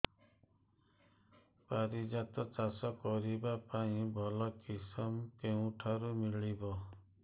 ପାରିଜାତ ଚାଷ କରିବା ପାଇଁ ଭଲ କିଶମ କେଉଁଠାରୁ ମିଳିବ